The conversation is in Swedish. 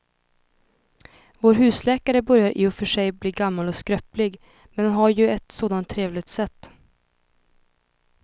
Vår husläkare börjar i och för sig bli gammal och skröplig, men han har ju ett sådant trevligt sätt!